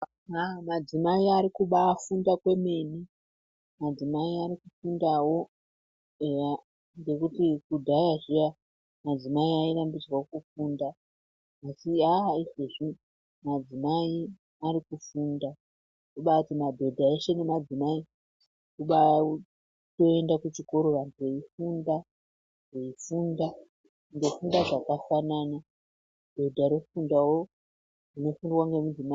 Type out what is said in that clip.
Haa madzimai arikubaa funda kwemene, adzimai arikufundawo eya. Ngekuti kudhaya zviya . Madzimai airambidzwa kufunda ,asi haa, izvezvi madzimai arikufunda zvobaati madhodha eshe nemadzimai vobaaenda kuchikora ,vantu veifunda .Vofunda zvakafanana, dhodha rofundawo zvinofundwa ngemudzimai .